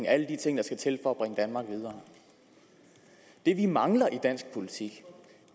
alle de ting der skal til for at bringe danmark videre det vi mangler i dansk politik